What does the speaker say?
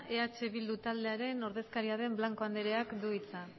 eh bildu taldearen ordezkariaren blanco andereak du hitza